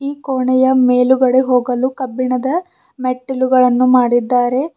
ಈ ಕೋಣೆಯ ಮೇಲ್ಗಡೆ ಹೋಗಲು ಕಬ್ಬಿಣದ ತಿಳುಗಳನ್ನು ಮಾಡಿದ್ದಾರೆ.